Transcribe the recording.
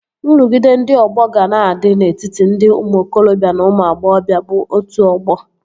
Nrụgide ndị ọgbọ ga na-adị n'etiti ndị ụmụ okorobịa na ụmụ agbọghọbịa bụ otu ọgbọ